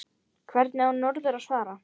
Hvernig á norður að svara?